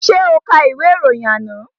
Ṣé o ka ìwé ìròyìn àná?